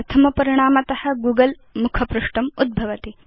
प्रथम परिणामत गूगल मुखपृष्ठम् उद्भवति